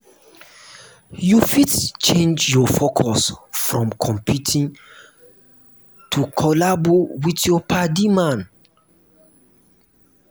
you fit change your focus from competing to collabo with your padi man